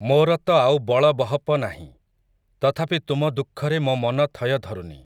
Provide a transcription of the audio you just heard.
ମୋର ତ ଆଉ ବଳବହପ ନାହିଁ, ତଥାପି ତୁମ ଦୁଃଖରେ ମୋ ମନ ଥୟ ଧରୁନି ।